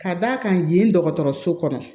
Ka d'a kan yen dɔgɔtɔrɔso kɔnɔ